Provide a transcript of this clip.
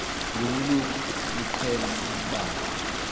ngobulumko niqhel ukubamb